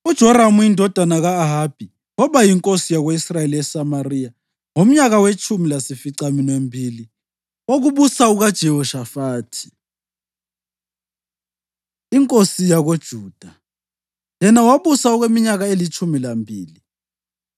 UJoramu indodana ka-Ahabi waba yinkosi yako-Israyeli eSamariya ngomnyaka wetshumi lasificaminwembili wokubusa kukaJehoshafathi inkosi yakoJuda, yena wabusa okweminyaka elitshumi lambili.